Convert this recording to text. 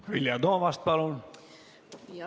Vilja Toomast, palun!